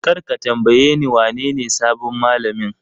Kar ka tambayeni wanene sabon mallamin!